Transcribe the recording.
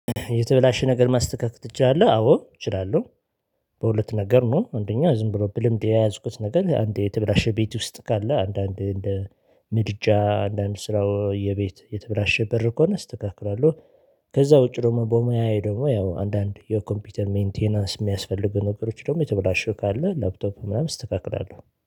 የተበላሸ ነገር ማስተካከል ትችላለህ? አዎ እችላለሁ። በሁለት ነገር ነው አንደኛው ዝም ብሎ ብልምድ የያዝኩት ነገር አንዴ የተበላሸ ቤት ውስጥ ካለ አንዳንድ እንደ ምድጃ አንዳንድ ስራው የቤት የተበላሸ በር ከሆነ አስተካክላለሁ፤። ከዛ ውጪ ደግሞ በሙያየ ደግሞ ያው አንዳንድ የኮምፒውተር ሜንቴናንስ የሚያስፈልጉ ነገሮች ደግሞ የተበላሸው ካለ ላፕቶፕ ምናምን አስተካክላለሁ።